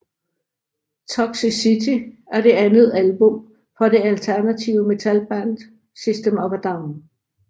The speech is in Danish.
Toxicity er det andet album fra det alternative metalband System of a Down